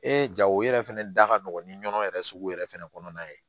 jago yɛrɛ fɛnɛ da ka nɔgɔn ni nɔnɔ yɛrɛ sugu yɛrɛ fɛnɛ kɔnɔna ye